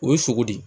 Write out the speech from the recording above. O ye sogo de ye